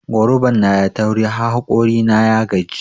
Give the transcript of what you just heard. Goruban nada tauri har hokori na ya gaji.